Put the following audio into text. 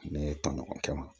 Ne ye tɔɲɔgɔnkɛ ma